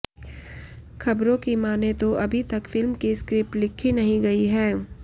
खबरों की माने तो अभी तक फिल्म की स्क्रिप्ट लिखी नहीं गई है